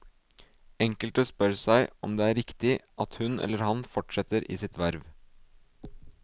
Enkelte spør seg om det er riktig at hun eller han fortsetter i sitt verv.